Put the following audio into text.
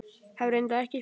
Hef reyndar ekki spurt.